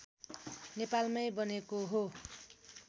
नेपालमै बनेको हो